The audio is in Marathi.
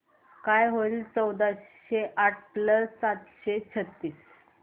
काय होईल चौदाशे आठ प्लस सातशे छ्त्तीस